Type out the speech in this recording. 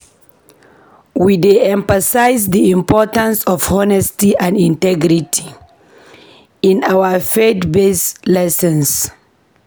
We dey emphasize the importance of honesty and integrity in our faith-based lessons.